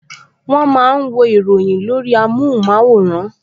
Wọ́n máa ń wo ìròyìn lórí amóhùnmáwòrán